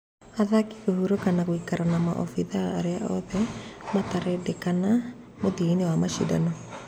Athaki kũhuruka na gũikarwa na maofitha arĩa othe matarèdekana mũthiaine wa mashidano.